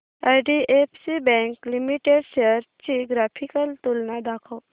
IDFC bank limited shares ची graphical तुलना दाखव